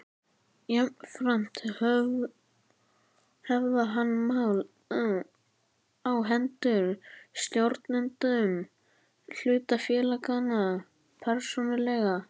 Jafnframt höfðað hann mál á hendur stjórnendum hlutafélaganna persónulega.